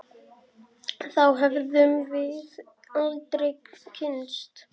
Þá hefðum við aldrei kynnst